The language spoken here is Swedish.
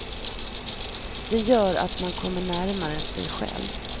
Det gör att man kommer närmare sig själv.